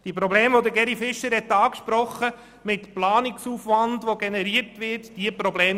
Die von Grossrat Fischer angesprochenen Probleme mit dem zusätzlichen Planungsaufwand gibt es tatsächlich.